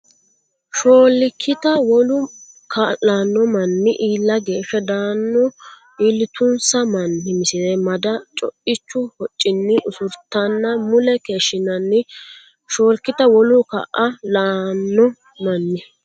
Shoolkita wolu kaa lanno manni iilla geeshsha dano iillitunsa manni Misile Mada co ichu hoccinni usurtanna mule keeshshinanni Shoolkita wolu kaa lanno manni.